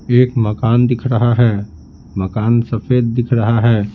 एक मकान दिख रहा है मकान सफेद दिख रहा है।